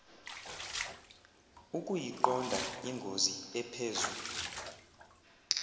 ukuyiqonda ingozi ephezu